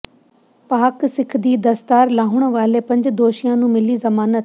ਪਾਕਿ ਸਿੱਖ ਦੀ ਦਸਤਾਰ ਲਾਹੁਣ ਵਾਲੇ ਪੰਜ ਦੋਸ਼ੀਆਂ ਨੂੰ ਮਿਲੀ ਜ਼ਮਾਨਤ